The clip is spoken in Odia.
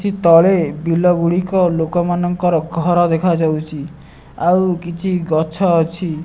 ତଳେ ବିଲ ଗୁଡ଼ିକ ଲୋକମାନଙ୍କର ଘର ଦେଖାଯାଉଚି ଆଉ କିଛି ଗଛ ଅଛି।